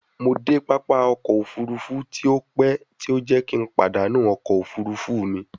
Mo de papa ọkọ ofurufu ti o pẹ ti o jẹ ki n padanu ọkọ ofurufu mi